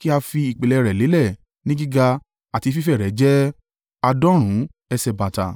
kí a fi ìpìlẹ̀ rẹ̀ lélẹ̀ ni gíga àti fífẹ̀ rẹ̀ jẹ́ àádọ́rùn-ún ẹsẹ̀ bàtà,